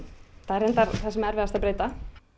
það er reyndar það sem erfiðast að breyta